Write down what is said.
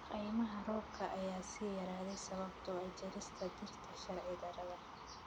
Kaymaha roobka ayaa sii yaraaday sababtoo ah jarista dhirta sharci darrada ah.